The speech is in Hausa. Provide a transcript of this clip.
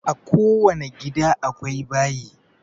A ko wani gida akwai bayi